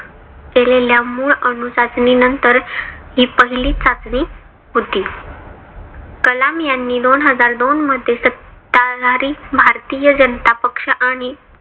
केलेल्या मूळ अणु चाचणी नंतर हि पहिली चाचणी होती. कलाम यांनी दोन हजार दोनमध्ये सत्ताधारी भारतीय जनता पक्ष आणि